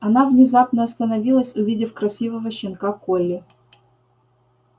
она внезапно остановилась увидев красивого щенка колли